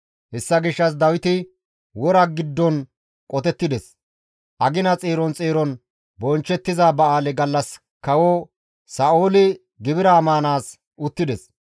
Hessa gishshas Dawiti wora giddon qotettides. Agina xeeron xeeron bonchchettiza ba7aale gallas kawo Sa7ooli gibira maanaas uttides.